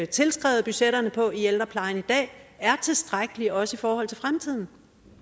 tilskrevet budgetterne på i ældreplejen i dag er tilstrækkelig også i forhold til fremtiden